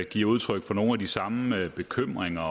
giver udtryk for nogle af de samme bekymringer